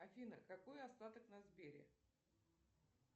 афина какой остаток на сбере